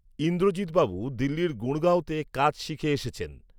ইন্দ্রজিৎবাবু দিল্লির গুড়গাঁওতে কাজ শিখে এসেছেন